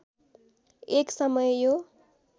एक समय यो